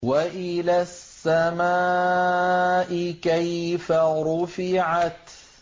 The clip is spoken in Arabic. وَإِلَى السَّمَاءِ كَيْفَ رُفِعَتْ